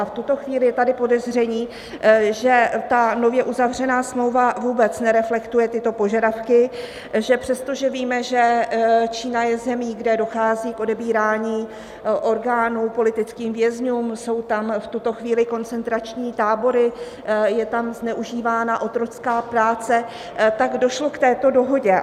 A v tuto chvíli je tady podezření, že ta nově uzavřená smlouva vůbec nereflektuje tyto požadavky, že přestože víme, že Čína je zemí, kde dochází k odebírání orgánů politickým vězňům, jsou tam v tuto chvíli koncentrační tábory, je tam zneužívána otrocká práce, tak došlo k této dohodě.